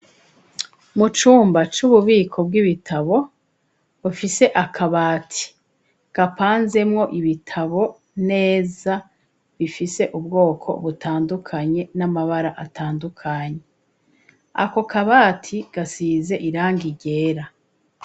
Mu cumba c'ububiko bw'ibitabo bufise akabati kapanzemwo ibitabo neza bifise ubwoko butandukanye n'amabara atandukanye ako kabati gasize iranga ryera.